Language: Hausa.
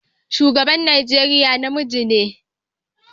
Shugaban Najeriya namiji ne.